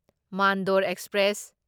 Mandor express